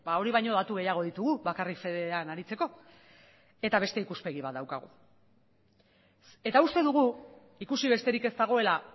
hori baino datu gehiago ditugu bakarrik fedean aritzeko eta beste ikuspegi bat daukagu eta uste dugu ikusi besterik ez dagoela